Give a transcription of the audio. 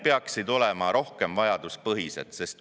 … peaksid olema rohkem vajaduspõhised.